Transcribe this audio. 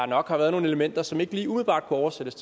nok har været nogle elementer som ikke lige umiddelbart kunne oversættes